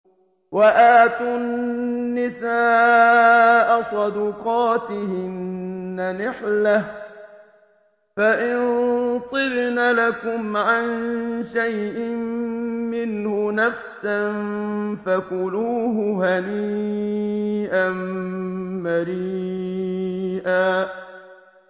وَآتُوا النِّسَاءَ صَدُقَاتِهِنَّ نِحْلَةً ۚ فَإِن طِبْنَ لَكُمْ عَن شَيْءٍ مِّنْهُ نَفْسًا فَكُلُوهُ هَنِيئًا مَّرِيئًا